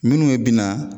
Minnu bina